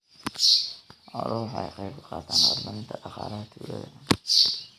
Xooluhu waxay ka qayb qaataan horumarinta dhaqaalaha tuulada.